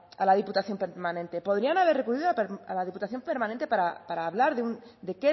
a la diputación permanente podrían haber recurrido a la diputación permanente para hablar de